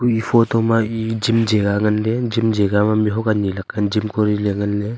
e photo ma e gym jagha ngan ley gym jagha ma mih huak anyi laka e gym kori ley ngan ley.